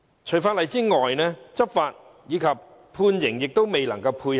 除法例外，執法及判刑亦未能配合。